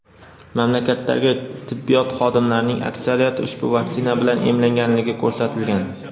Mamlakatdagi tibbiyot xodimlarining aksariyati ushbu vaksina bilan emlanganligi ko‘rsatilgan.